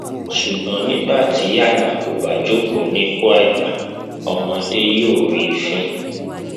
ṣùgbọn nígbà tí àgbà kò bá jókòó sí ipò àgbà ọmọdé yóò rí i fín